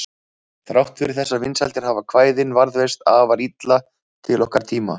Þrátt fyrir þessar vinsældir hafa kvæðin varðveist afar illa til okkar tíma.